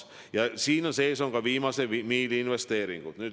Ja siin sees on ka viimase miili investeeringud.